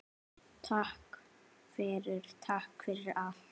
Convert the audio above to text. Takk fyrir, takk fyrir allt.